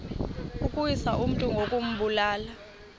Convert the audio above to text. ukuwisa umntu ngokumbulala